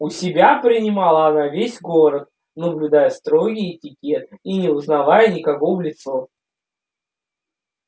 у себя принимала она весь город наблюдая строгий этикет и не узнавая никого в лицо